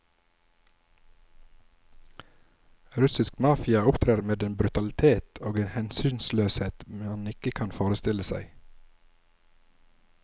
Russisk mafia opptrer med en brutalitet og en hensynsløshet man ikke kan forestille seg.